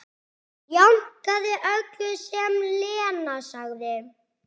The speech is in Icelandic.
Jánkaði öllu sem Lena sagði.